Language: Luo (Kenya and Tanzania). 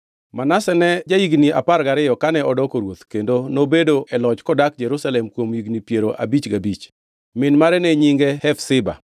Manase ne ja-higni apar gariyo kane odoko ruoth, kendo nobedo e loch kodak Jerusalem kuom higni piero abich gabich. Min mare ne nyinge Hefziba.